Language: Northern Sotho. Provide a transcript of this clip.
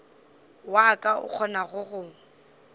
wa ka o kgonago go